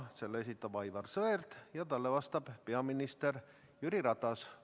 Selle esitab Aivar Sõerd ja talle vastab peaminister Jüri Ratas.